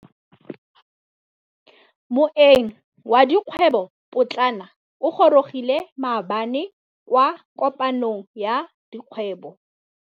Moêng wa dikgwêbô pôtlana o gorogile maabane kwa kopanong ya dikgwêbô.